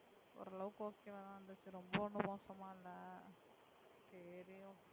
ஓரளவுக்கு okay வா இருந்துச்சு ரொம்ப ஒண்ணும் மோசமா இல்லை சரி okay